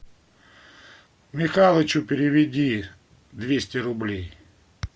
михалычу переведи двести рублей